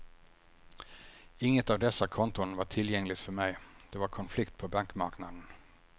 Inget av dessa konton var tillgängligt för mig, det var konflikt på bankmarknaden.